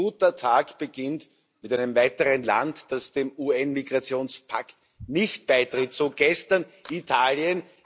Ein guter Tag beginnt mit einem weiteren Land, das dem UN Migrationspakt nicht beitritt, so gestern Italien.